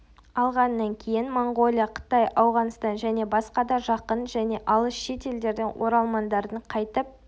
алғанынан кейін монғолия қытай ауғанстан және басқа да жақын және алыс шет елдерден оралмандардың қайтіп